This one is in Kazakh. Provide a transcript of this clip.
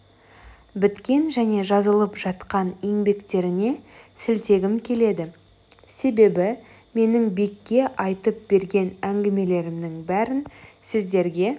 біткен және жазылып жатқан еңбектеріне сілтегім келеді себебі менің бекке айтып берген әңгімелерімнің бәрін сіздерге